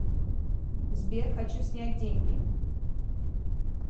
сбер хочу снять деньги